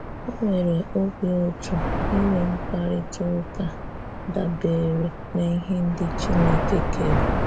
Ọ nwere obí ùtù inwe mkparịta ụkà dabeere n’ihè ndị̀ Chinekè kere.